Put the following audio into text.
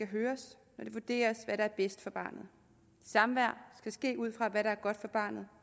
høres når det vurderes hvad der er bedst for barnet samvær skal ske ud fra hvad der er godt for barnet